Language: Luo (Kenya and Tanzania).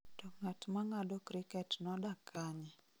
To ng�at ma ng�ado kriket nodak kanye?